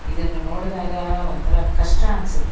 ಇದನ್ನು ನೋಡ್ದಗಾ ಒಂತರಾ ಕಷ್ಟ ಅನುತ್ತೆ.